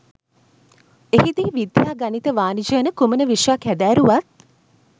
එහිදී විද්‍යා ගණිත වාණිජ යන කුමන විෂයක් හැදෑරුවත්